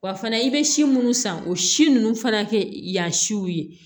Wa fana i bɛ si munnu san o si ninnu fana kɛ yan siw ye